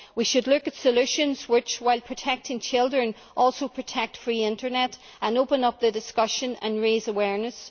We should look at solutions which, while protecting children, also protect a free internet, and we should open up the discussion and raise awareness.